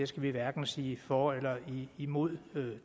skal vi hverken sige for eller imod